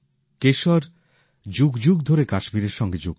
কেশর যুগ যুগ ধরে কাশ্মীরের সঙ্গে যুক্ত